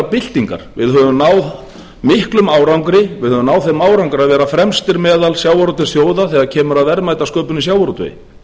byltingar við höfum náð miklum árangri við höfum náð þeim árangri að vera fremstir meðal sjávarútvegsþjóða þegar kemur að verðmætasköpun í sjávarútvegi